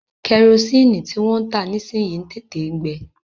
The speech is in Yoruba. Kẹrosini tí wọ́n ń tà nísìyi ń tètè ń gbe.